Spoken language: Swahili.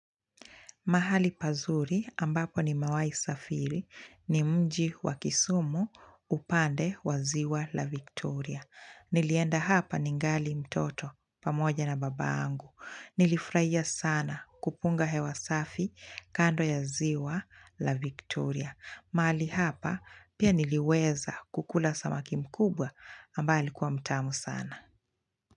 Mahali pazuri ambapo nimewahi safiri ni mji wa kisumu upande wa ziwa la Victoria. Nilienda hapa ningali mtoto pamoja na baba yangu. Nilifurahia sana kupunga hewa safi kando ya ziwa la Victoria. Mahali hapa pia niliweza kukula samaki mkubwa ambaye alikuwa mtamu sana.